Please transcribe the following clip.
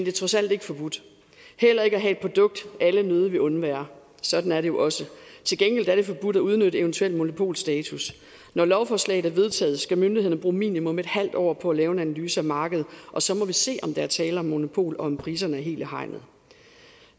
er trods alt ikke forbudt heller ikke at have et produkt alle nødigt vil undvære sådan er det jo også til gengæld er det forbudt at udnytte eventuel monopolstatus når lovforslaget er vedtaget skal myndighederne bruge minimum et halvt år på at lave en analyse af markedet og så må vi se om der er tale om monopol og om priserne er helt i hegnet